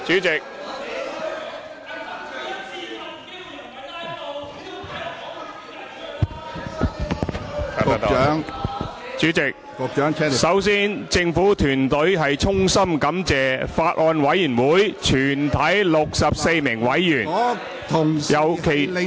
主席，首先政府團隊衷心感謝法案委員會全體64名委員，尤其......